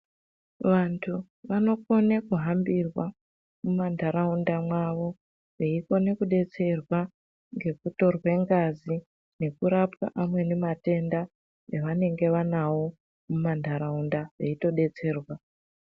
Vantu vanokone kuhambirwa mumanharaunda mwawo veikone kudetserwa ngekutorwe ngazi nekurapwa amweni matenda avenge vanawo mumanharaunda veitodetserwa.